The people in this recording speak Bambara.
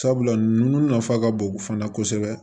Sabula ninnu nafa ka bon fana kosɛbɛ